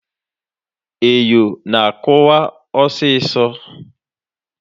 Enyo na akụwa ọsịsọ.